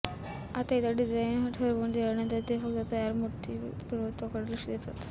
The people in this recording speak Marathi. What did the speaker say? आता एकदा डिझाइन ठरवून दिल्यानंतर ते फक्त तयार मूर्तीच्या पूर्णत्वाकडे लक्ष देतात